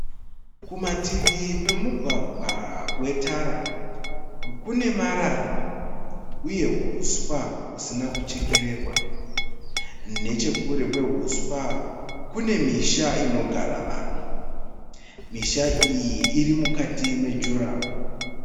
Kumativi kwemugwagwa wetara kune marara uye huswa husina kuchekererwa. Nechekure kwehuswa kune misha inogara vanhu. Misha iyi irimukati mejuraho.